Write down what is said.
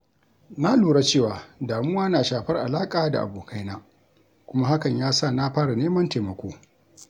Na lura cewa damuwa na shafar alaƙa da abokaina kuma hakan ya sa na fara neman taimako.